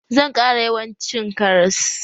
Zan ƙara yawan cin karas